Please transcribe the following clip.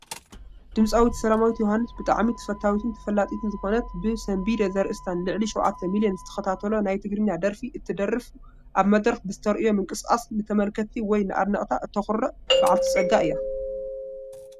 ድምፃዊት ሰላማዊት ዮሃንስ ብጣዕሚ ተፈታዊትን ተፈላጢትን ዝኾነት ብ ሰንቢደ ዘርእስታ ንልዕሊ 7,000,000 ዝተኸታተሎ ናይ ትግርኛ ደርፊ እትደርፍ ኣብ መድረኽ ብዝተርእዮ ምንቅስቓስ ንተመልካቲ ወይ ንኣድነቕታ እተኹርዕ በዓልቲ ፀጋ እያ ።